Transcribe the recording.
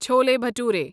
chole بٹورے